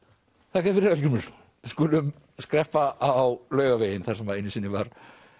þakka þér fyrir Hallgrímur við skulum skreppa á Laugaveginn þar sem einu sinni var